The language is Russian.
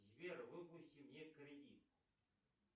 сбер выпусти мне кредит